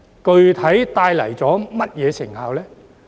具體帶來了甚麼成效？